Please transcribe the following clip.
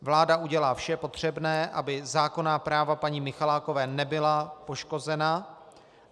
Vláda udělá vše potřebné, aby zákonná práva paní Michalákové nebyla poškozena.